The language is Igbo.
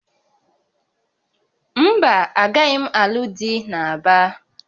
Mba, agaghị m alụ dị na Aba